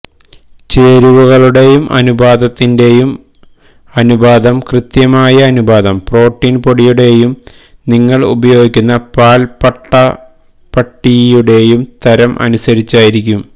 ചേരുവകളുടെയും അനുപാതത്തിന്റെയും അനുപാതം കൃത്യമായ അനുപാതം പ്രോട്ടീൻ പൊടിയുടെയും നിങ്ങൾ ഉപയോഗിക്കുന്ന പാൽപ്പട്ടപ്പട്ടിയുടെയും തരം അനുസരിച്ചായിരിക്കും